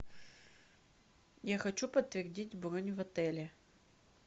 я хочу подтвердить бронь в отеле